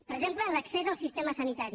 per exemple en l’accés al sistema sanitari